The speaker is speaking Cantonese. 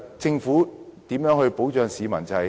政府應如何保障市民？